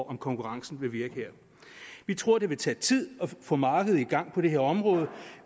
om konkurrencen vil virke her vi tror det vil tage tid at få markedet i gang på det her område